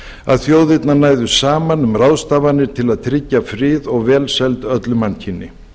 að þjóðirnar næðu saman um ráðstafanir til að tryggja frið og velsæld öllu mannkyni